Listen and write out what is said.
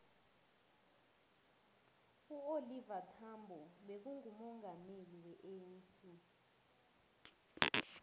uoliver thambo bekangumongameli we anc